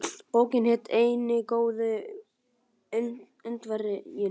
Bókin hét Eini góði Indverjinn.